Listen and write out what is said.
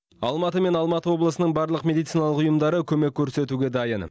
алматы мен алматы облысының барлық медициналық ұйымдары көмек көрсетуге дайын